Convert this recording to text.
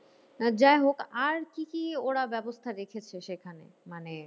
যাইহোক আর কি কি ওরা ব্যবস্থা রেখেছে সেইখানে? মানে